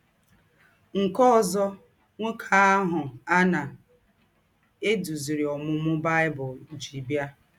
Nkè òzò nwókè àhụ̀ à na - èdúzìrì Ǒmūmū Bible jí bịa.